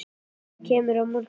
Kemurðu á morgun?